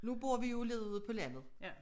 Nu bor vi jo nede på landet